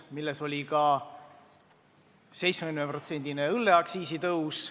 Nende hulgas oli ka 70%-ne õlleaktsiisi tõus.